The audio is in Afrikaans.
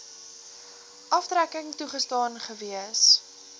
aftrekking toegestaan gewees